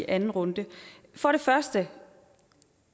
alvorligt det